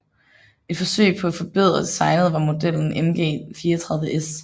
Et forsøg på at forbedre designet var modellen MG34S